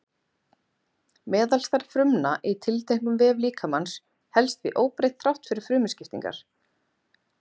meðalstærð frumna í tilteknum vef líkamans helst því óbreytt þrátt fyrir frumuskiptingar